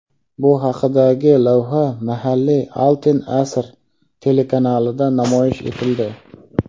Bu haqidagi lavha mahalliy "Altin asr" telekanalida namoyish etildi.